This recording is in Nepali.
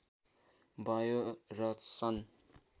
भयो र सन्